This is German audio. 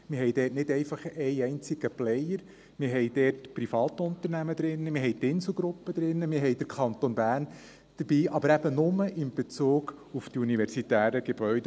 Wir haben dort nicht einfach einen einzigen Player: Wir haben dort Privatunternehmen drin, wir haben die Insel-Gruppe drin, wir haben den Kanton Bern dabei – aber eben nur in Bezug auf die universitären Gebäude.